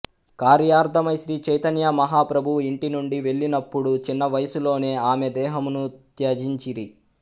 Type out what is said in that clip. కార్యార్థమై శ్రీ చైతన్య మహా ప్రభువు ఇంటి నుండి వెళ్ళినప్పుడు చిన్న వయస్సులోనే ఆమె దేహమును త్యజించిరి